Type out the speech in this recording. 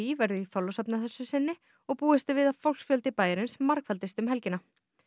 verður í Þorlákshöfn að þessu sinni og búist er við að fólksfjöldi bæjarins margfaldist um helgina